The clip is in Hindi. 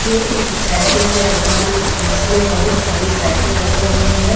यह एक साइकिल की दुकान है जिसमें बहुत सारी साइकिल रखी हुई है।